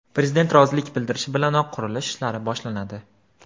Prezident rozilik bildirishi bilanoq qurilish ishlari boshlanadi.